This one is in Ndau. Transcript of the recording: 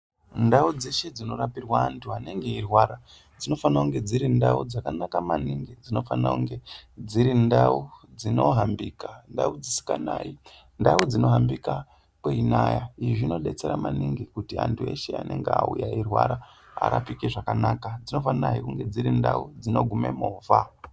Ndau dzeshe dzinorapirwa antu anenge eirwara dzinofana kunge dziri ndau dzakanaka maniningi. Dzinofanira kunge dziri ndau dzinohambika, ndau dzisikanayi, ndau dzinohambika kweinaya. Izvi zvinodetsera maningi kut antu eshe anenge auya eirwara arapike zvakanaka. Dzinofanahe kunge dziri ndau dzinogume movha.